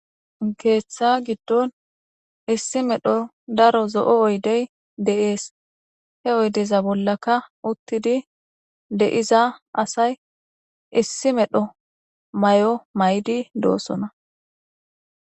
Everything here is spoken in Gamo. Keeththa giddon issi medho daro zo'o oydey de'ees he oydeza bollaka uttidi deiza asay issi medho may'o may'di doosona.